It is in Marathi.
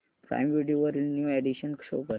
प्राईम व्हिडिओ वरील न्यू अॅडीशन्स शो कर